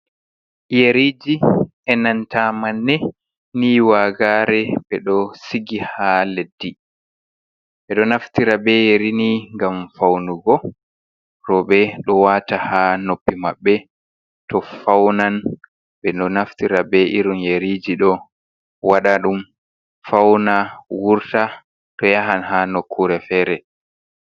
Yeriiji e nanta manne nii waagare, ɓe ɗo sigi haa leddi. Ɓe ɗo naftira bee yeri ni ngam fawnugo rewɓe, ɗo wata haa noppi maɓɓe to fawnan. Ɓe ɗo naftira bee irin yeriiji ɗo waɗa ɗum fawna wurta to yahan ha nokkuure fere.